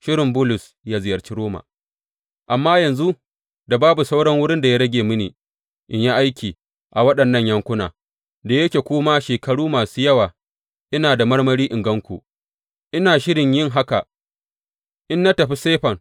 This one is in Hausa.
Shirin Bulus yă ziyarci Roma Amma yanzu da babu sauran wurin da ya rage mini in yi aiki a waɗannan yankuna, da yake kuma shekaru masu yawa ina da marmari in gan ku, ina shirin yin haka in na tafi Sifen.